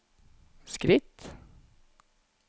skritt